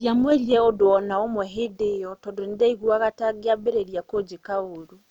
Ndiamwĩrire ũndũ o na ũmwe hĩndĩ ĩyo, tondũ nĩ ndaiguaga ta angĩambĩrĩirie kũnjĩka ũũru".